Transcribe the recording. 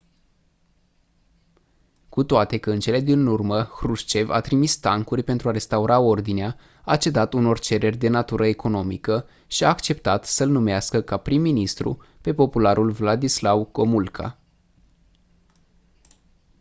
cu toate că în cele din urmă hrușcev a trimis tancuri pentru a restaura ordinea a cedat unor cereri de natură economică și a acceptat să-l numească ca prim ministru pe popularul wladyslaw gomulka